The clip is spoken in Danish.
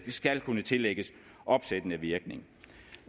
skal kunne tillægges opsættende virkning